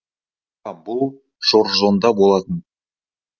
иә бұл жоржзонда болатын